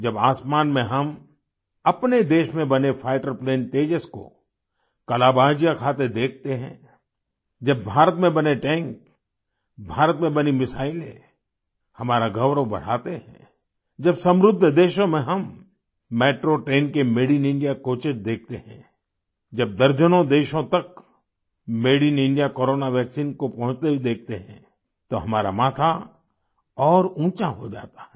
जब आसमान में हम अपने देश में बने फाइटर प्लेन तेजस को कलाबाजियाँ खाते देखते हैं जब भारत में बने टैंक भारत में बनी मिसाइलें हमारा गौरव बढ़ाते हैं जब समृद्ध देशों में हम मेट्रो ट्रेन के मादे इन इंडिया कोचेस देखते हैं जब दर्जनों देशों तक made in India corona vaccine को पहुँचते हुए देखते हैं तो हमारा माथा और ऊंचा हो जाता है